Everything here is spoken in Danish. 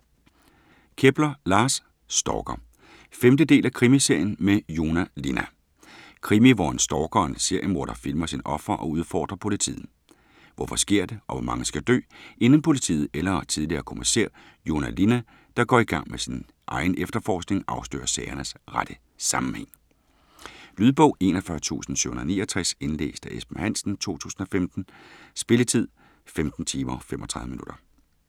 Kepler, Lars: Stalker 5. del af krimiserien med Joona Linna. Krimi hvor en stalker og seriemorder filmer sine ofre og udfordrer politiet. Hvorfor sker det, og hvor mange skal dø, inden politiet eller tidligere kommissær Joona Linna, der går i gang med sin egen efterforskning, afslører sagernes rette sammenhæng? Lydbog 41769 Indlæst af Esben Hansen, 2015. Spilletid: 15 timer, 35 minutter.